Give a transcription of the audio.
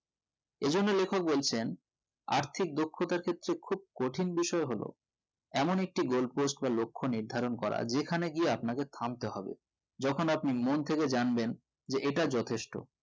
এই জন্য লেখক বলছেন আর্থিক দক্ষতার ক্ষেত্রে খুব কঠিন বিষয় হলো এমন একটি gold post বা লক্ষ নির্ধারণ করা যেকানে গিয়ে আপনাকে থামতে হবে যেকোন আপনি মনথেকে জানবেন যে এটা যথেষ্ট